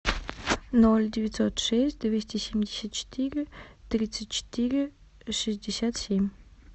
ноль девятьсот шесть двести семьдесят четыре тридцать четыре шестьдесят семь